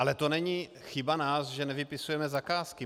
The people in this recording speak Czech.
Ale to není chyba nás, že nevypisujeme zakázky.